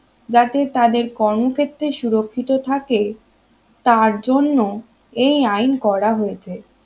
যাতে তাদের কর্ম ক্ষেত্রে সুরক্ষিত থাকে তার জন্য এই আইন করা হয়েছে